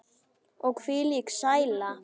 Og hvílík sæla.